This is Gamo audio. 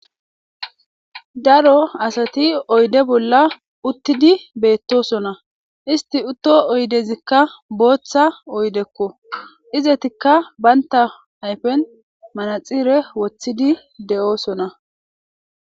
Daro asathi oyde bolla uththidi beeththoosona; isththi uththo oydezikka booththa oydekko; izetikka banththa ayfen manaxire woththidi de7oosona.